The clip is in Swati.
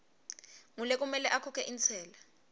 ngulekumele akhokhe intsela